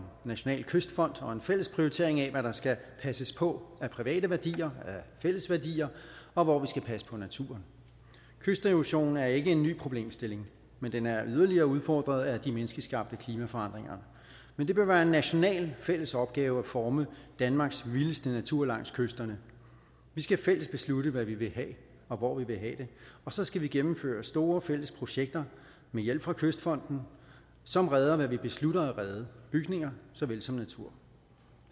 national kystfond og en fælles prioritering af hvad der skal passes på af private værdier af fælles værdier og hvor vi skal passe på naturen kysterosion er ikke en ny problemstilling men den er yderligere udfordret af de menneskeskabte klimaforandringer men det bør være en national fælles opgave at forme danmarks vildeste natur langs kysterne vi skal fælles beslutte hvad vi vil have og hvor vi vil have det og så skal vi gennemføre store fælles projekter med hjælp fra kystfonden som redder hvad vi beslutter at redde bygninger så vel som natur